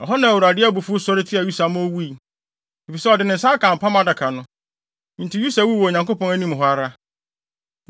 Ɛhɔ na Awurade abufuw sɔre tiaa Usa ma owui, efisɛ ɔde ne nsa aka Apam Adaka no. Enti Usa wuu wɔ Onyankopɔn anim hɔ ara.